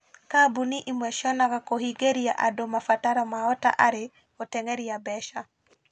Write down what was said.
Kambuni imwe cionaga kũhingĩria andũ mabataro mao ta arĩ "gũteng'eria mbeca".